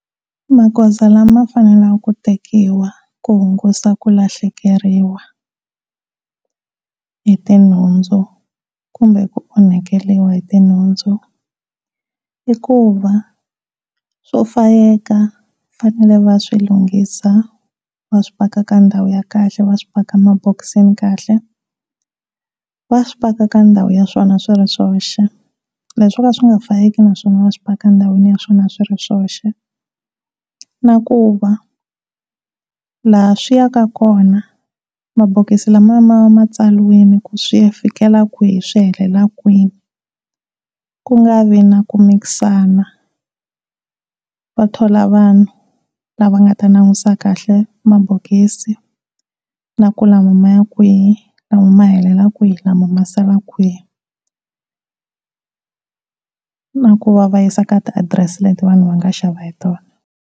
Maghoza lama faneleke ku tekiwa ku hungasa ku lahlekeriwa hiti nhundzu kumbe ku onhakeriwa ti nhundzu i ku va swo fayeka va fanele va swilunghisa va swipaka ka ndhawu ya kahle va swipaka mabokisini kahle, va swipaka ka ndhawu ya swona swi ri swoxe leswi swoka swi nga fayeki naswona va swipaka eka ndhawu ya swona swi ri swoxe na ku va laha swi ya ka kona mabokisi ma va matsaliwini ku swi ya fikela kwihi swi helela kwini, ku nga vi na ku mikisana, va thola vanhu lava nga ta langutisa kahle mabokisi na ku lama maya kwihi, lama ma helela kwihi, lama ma sala kwihi na ku va va yisa ka ti adirese leti vanhu va nga xava hi tona.